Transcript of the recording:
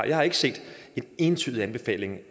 jeg har ikke set en entydig anbefaling